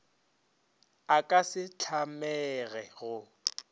a ka se tlamege go